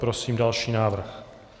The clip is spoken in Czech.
Prosím další návrh.